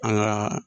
An ka